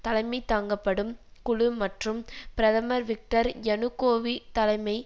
தலைமை தாங்கப்படும் குழு மற்றும் பிரதமர் விக்டர் யனுகோவிச் தலைமை